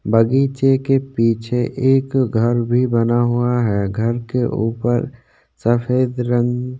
बगीचे के पीछे एक घर भी बना हुआ है घर के ऊपर सफ़ेद रंग --